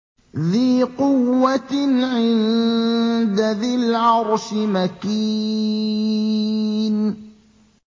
ذِي قُوَّةٍ عِندَ ذِي الْعَرْشِ مَكِينٍ